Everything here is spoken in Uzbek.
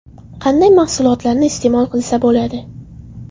Qanday mahsulotlarni iste’mol qilsa bo‘ladi?